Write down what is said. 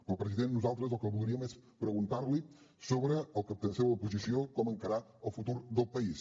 però president nosaltres el que voldríem és preguntar li sobre la seva posició sobre com encarar el futur del país